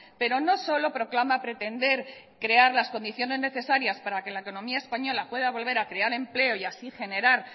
pero no solo proclama pretender crear las condiciones necesarias para que la economía española pueda volver a crear empleo y así generar